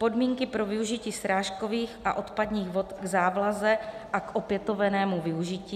podmínky pro využití srážkových a odpadních vod k závlaze a k opětovnému využití;